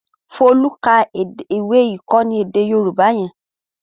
Folú ka ìwé-ìkọ́ni èdè Yorùbá yẹn?